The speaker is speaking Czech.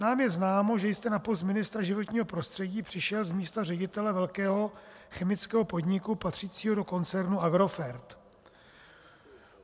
Nám je známo, že jste na post ministra životního prostředí přišel z místa ředitele velkého chemického podniku patřícího do koncernu Agrofert.